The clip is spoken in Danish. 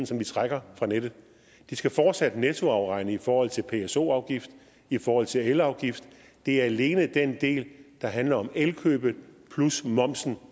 som de trækker fra nettet de skal fortsat nettoafregne i forhold til pso afgift i forhold til elafgift det er alene i den del der handler om elkøbet plus momsen